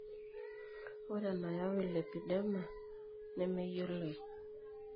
Ore enayau lipedema nemeyioloi.